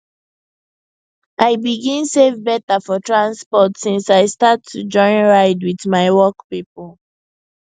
i begin save better for transport since i start to join ride with my work people